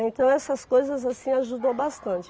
Então essas coisas assim ajudam bastante.